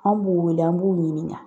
An b'u wele an b'u ɲininka